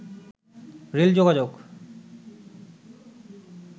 rail যোগাযোগ